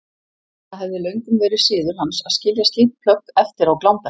Það hafði löngum verið siður hans að skilja slík plögg eftir á glámbekk.